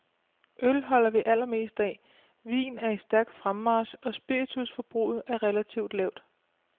Øl holder vi allermest af, vin er i stærk fremmarch, og spiritusforbruget er relativt lavt.